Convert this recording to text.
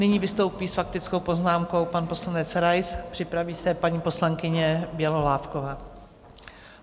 Nyní vystoupí s faktickou poznámkou pan poslanec Rais, připraví se paní poslankyně Bělohlávková.